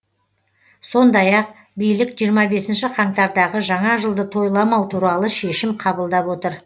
сондай ақ билік жиырма бесінші қаңтардағы жаңа жылды тойламау туралы шешім қабылдап отыр